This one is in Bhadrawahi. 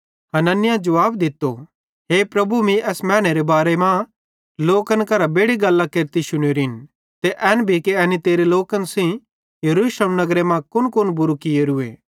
हनन्याहे जुवाब दित्तो हे प्रभु मीं एस मैनेरे बारे मां लोकन करां बेड़ि गल्लां केरती शुनोरिन ते एन भी कि एनी तेरे लोकन सेइं यरूशलेम नगरे मां कुनकुन बुरू कियोरूए